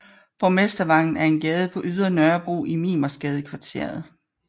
Borgmestervangen er en gade på Ydre Nørrebro i Mimersgadekvarteret